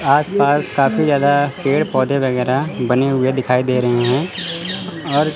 आसपास काफी ज्यादा पेड़ पौधे वगैरह बने हुए दिखाई दे रहे हैं और--